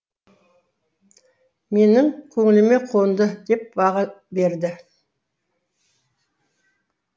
менің көңіліме қонды деп баға берді